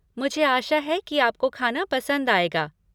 मुझे आशा है कि आपको खाना पसंद आएगा।